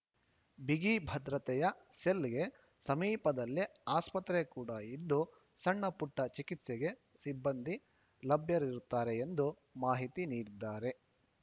ಬಿಗಿಭದ್ರತೆಯ ಸೆಲ್‌ಗೆ ಸಮೀಪದಲ್ಲೇ ಆಸ್ಪತ್ರೆ ಕೂಡ ಇದ್ದು ಸಣ್ಣಪುಟ್ಟಚಿಕಿತ್ಸೆಗೆ ಸಿಬ್ಬಂದಿ ಲಭ್ಯರಿರುತ್ತಾರೆ ಎಂದು ಮಾಹಿತಿ ನೀಡಿದ್ದಾರೆ